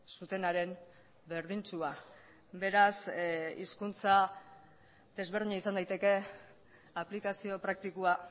zutenaren berdintsua beraz hizkuntza desberdina izan daiteke aplikazio praktikoa